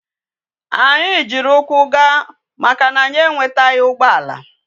Anya jiri ukwu gaa maka na anyi enwetaghi ugboala